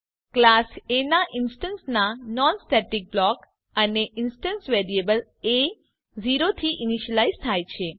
class એ ના instance ના નોન સ્ટેટિક બ્લોક અને ઇન્સટન્સ વેરિયેબલ એ 0 થી ઈનીશ્યલાઈઝ થાય છે